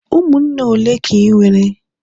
umunne ole ka i nwere?